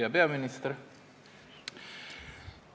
Hea peaminister!